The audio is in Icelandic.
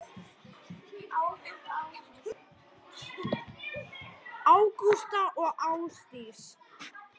Ágústa og Ásdís.